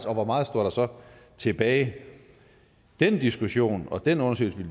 og hvor meget står der så tilbage den diskussion og den undersøgelse